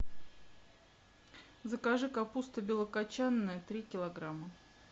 закажи капуста белокочанная три килограмма